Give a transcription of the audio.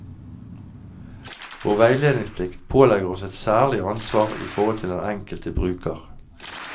Vår veiledningsplikt pålegger oss et særlig ansvar i forhold til den enkelte bruker.